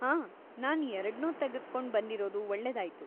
ಹಾಂ, ನಾನ್‌ ಎರಡ್ನೂ ತೆಗೆದ್ಕೊಂಡ್‌ ಬಂದಿರೋದು ಒಳ್ಳೇದಾಯ್ತು.